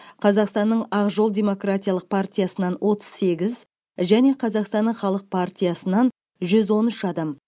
қазақстанның ақ жол демократиялық партиясынан отыз сегіз және қазақстанның халық партиясынан жүз он үш адам